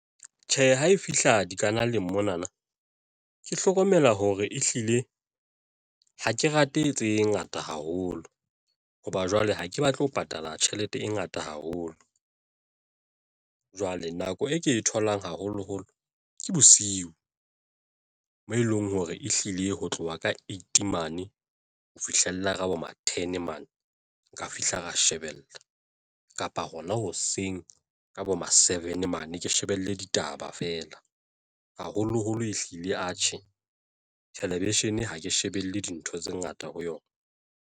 Tjhe, ha e fihla dikanaleng mona na ke hlokomela hore ehlile ha ke rate tse ngata haholo hoba jwale ha ke batle ho patala tjhelete e ngata haholo. Jwale nako e ke e tholang haholoholo ke bosiu mo eleng hore ehlile ho tloha ka eight mane, ho fihlella ka bo ma ten mane nka fihla ka shebella kapa hona hoseng ka bo ma seven mane ke shebelle ditaba feela haholoholo ehlile atjhe thelevishene ha ke shebelle dintho tse ngata ho yona.